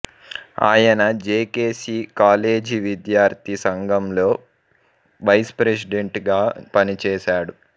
ఆయన JKC college విద్యార్థి సంఘంలో వైస్ప్రెసిడెంట్ గా పని చేశాడు